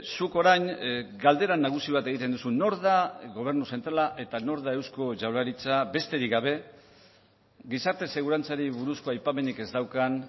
zuk orain galdera nagusi bat egiten duzu nor da gobernu zentrala eta nor da eusko jaurlaritza besterik gabe gizarte segurantzari buruzko aipamenik ez daukan